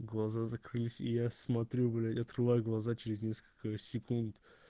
глаза закрылись и я смотрю блять открываю глаза через несколько секунд